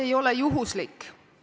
... ei ole juhuslik.